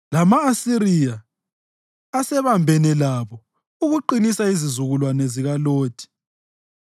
Lama-Asiriya asebambene labo ukuqinisa izizukulwane zikaLothi.